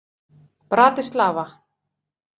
Bratislava